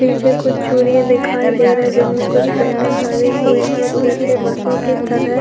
नीचे कुछ चूड़ियां दिखाई दे रही है जिसमें कुछ पैनल लगे हुए हैं और पीछे बसों की तरह --